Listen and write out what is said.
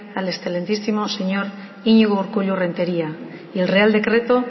al excelentísimo señor iñigo urkullu renteria y el real decreto